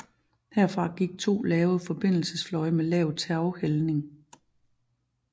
Herfra gik to lave forbindelsesfløje med lav taghældning